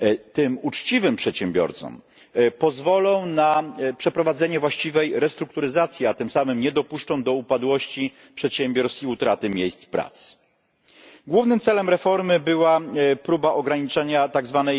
tym uczciwym przedsiębiorcom pozwolą na przeprowadzenie właściwej restrukturyzacji, a tym samym nie dopuszczą do upadłości przedsiębiorstw i utraty miejsc pracy. Głównym celem reformy była próba ograniczenia tzw.